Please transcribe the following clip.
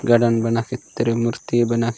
गदन बना के तिरु मूर्ति बना --